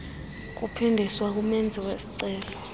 kuphindiswa kumenzi wesicelo